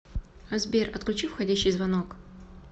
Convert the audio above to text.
сбер отключи входящий звонок